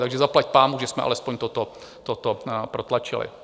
Takže zaplať pánbůh, že jsme alespoň toto protlačili.